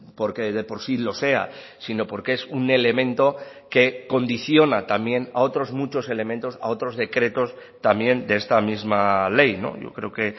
porque de por sí lo sea sino porque es un elemento que condiciona también a otros muchos elementos a otros decretos también de esta misma ley yo creo que